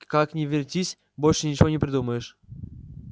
как ни вертись больше ничего не придумаешь